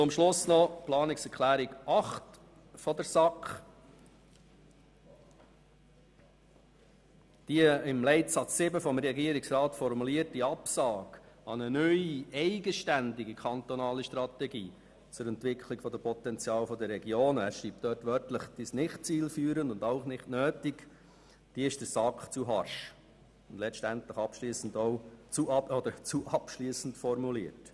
Zum Schluss noch zu Planungserklärung 8 der SAK: Die im Leitsatz 7 vom Regierungsrat formulierte Absage an eine neue eigenständige kantonale Strategie zur Entwicklung des Potenzials der Regionen – er schreibt wörtlich «ist nicht zielführend und auch nicht nötig» – ist der SAK zu harsch und letztendlich auch zu abschliessend formuliert.